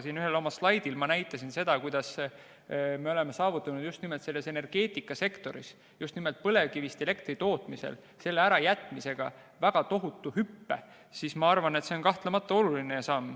Siin ühel oma slaidil ma näitasin, kuidas me oleme saavutanud just nimelt energeetikasektoris, just nimelt põlevkivist elektri tootmisel väga tohutu hüppe ja ma arvan, et see on kahtlemata oluline samm.